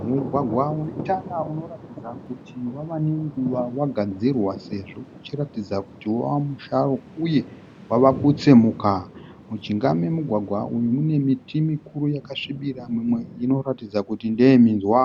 Mugwagwa une tara unoratidza kuti wava nenguva wagadzirwa sezvo uchiratidza kuti wava musharu uye wava kutsemuka. Mujinga memugwagwa uyu mune miti mikuru yakasvibira mimwe inoratidza kuti ndeyeminzwa.